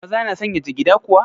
Maza na sanya jigida kuwa?